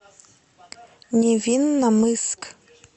невинномысск